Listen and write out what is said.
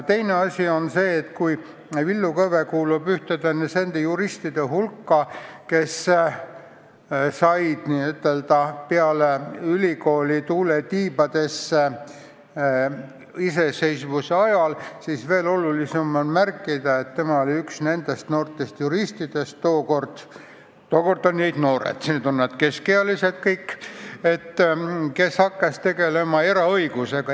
Teine asi on see, et kui Villu Kõve kuulub nende juristide hulka, kes said peale ülikooli tuule tiibadesse iseseisvuse ajal, siis veel olulisem on märkida, et tema oli üks nendest noortest juristidest – tookord olid nad noored, nüüd on nad keskealised –, kes hakkas tegelema eraõigusega.